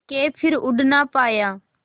के फिर उड़ ना पाया